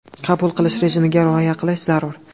Qabul qilish rejimiga rioya qilish zarur.